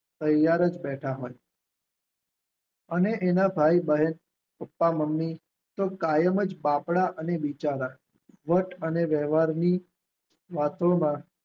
ત્યાર જ બેઠા હોય. અને એના ભાઈ બહેન, પપ્પા મમ્મી તો કાયમ જ બાપડા અને બિચારા, વટ અને વેવારની વાતોમાં